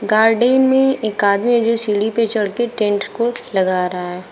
Garden में एक आदमी जो सीढ़ी पर चढ़कर टेंट को लग रहा है।